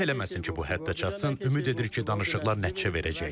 Allah eləməsin ki bu həddə çatsın, ümid edirik ki danışıqlar nəticə verəcək.